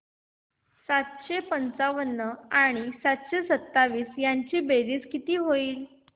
सातशे पंचावन्न आणि सातशे सत्तावीस ची बेरीज किती होईल